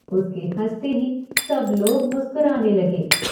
उसके हंसते ही सब लोग मुस्कुराने लगे।